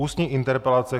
Ústní interpelace